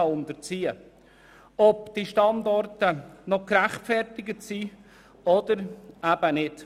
Dabei soll geprüft werden, ob diese Standorte noch gerechtfertigt sind oder eben nicht.